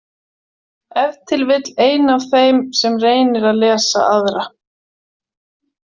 Ef til vill ein af þeim sem reynir að lesa aðra.